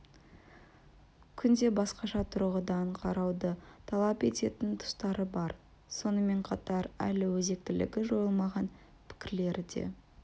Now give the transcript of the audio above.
күнде басқаша тұрғыдан қарауды талап ететін тұстары бар сонымен қатар әлі өзектілігі жойылмаған пікірлері де